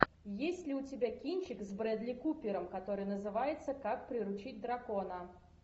есть ли у тебя кинчик с брэдли купером который называется как приручить дракона